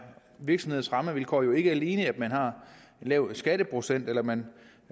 virksomheders rammevilkår jo ikke alene at man har lav skatteprocent eller man